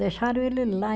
Deixaram ele lá.